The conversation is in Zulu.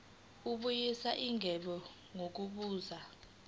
kubuyiswa igebe ngokubuza